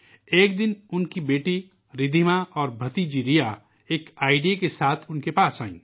ایک دن ان کی بیٹی ردھیما اور بھانجی ریا ایک سجھاؤ لے کر آئیں